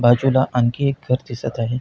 बाजूला आणखी एक घर दिसत आहे.